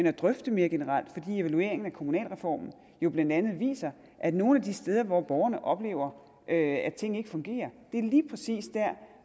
at drøfte det mere generelt fordi evalueringen af kommunalreformen jo blandt andet viser at nogle af de steder hvor borgerne oplever at ting ikke fungerer er lige præcis dér